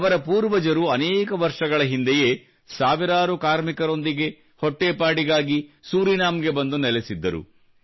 ಅವರ ಪೂರ್ವಜರು ಅನೇಕ ವರ್ಷಗಳ ಹಿಂದೆಯೇ ಸಾವಿರಾರು ಕಾರ್ಮಿಕರೊಂದಿಗೆ ಹೊಟ್ಟೆಪಾಡಿಗಾಗಿ ಸೂರೀನಾಮ್ ಗೆ ಬಂದು ನೆಲೆಸಿದ್ದರು